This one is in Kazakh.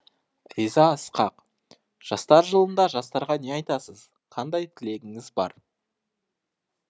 риза ысқақ жастар жылында жастарға не айтасыз қандай тілегіңіз бар